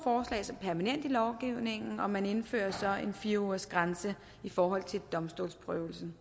som permanente i lovgivningen og man indfører så en fire ugersgrænse i forhold til domstolsprøvelsen